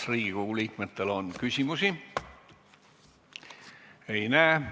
Kas Riigikogu liikmetel on küsimusi?